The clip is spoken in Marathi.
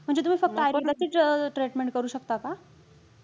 म्हणजे तुम्ही फक्त आयुर्वेदिकच treatment करू शकता का?